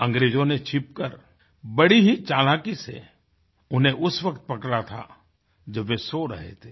अंग्रेजों ने छिप कर बड़ी ही चालाकी से उन्हें उस वक़्त पकड़ा था जब वे सो रहे थे